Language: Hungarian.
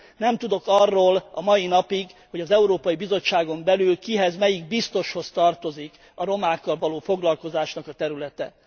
Nem tudok arról a mai napig, hogy az Európai Bizottságon belül kihez, melyik biztoshoz tartozik a romákkal való foglalkozásnak a területe.